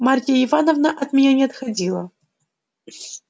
марья ивановна от меня не отходила